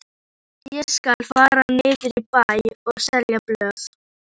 Ég skal fara niður í bæ og selja blöð.